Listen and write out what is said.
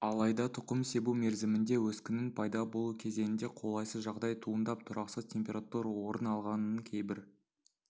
алайда тұқым себу мерзімінде өскіннің пайда болу кезеңінде қолайсыз жағдай туындап тұрақсыз температура орын алғанын кейбір